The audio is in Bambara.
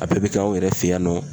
A bɛɛ bɛ kɛ aw yɛrɛ fɛ yan nɔ.